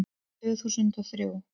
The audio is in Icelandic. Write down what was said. Tvö þúsund og þrjú